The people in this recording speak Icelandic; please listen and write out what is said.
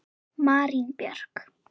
Marín Björk.